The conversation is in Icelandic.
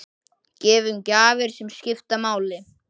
Gefum gjafir sem skipta máli.